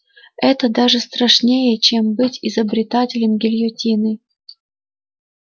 это даже страшнее чем быть изобретателем гильотины